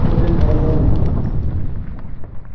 metro rail পাইলেন.